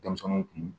Denmisɛnninw kun